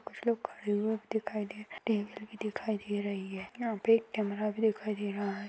कुछ लोग खड़े हुए दिखाई दे रहे है टेबल भी दिखाई दे रही है यहा पे एक कैमेरा भी दिखाई दे रहा है।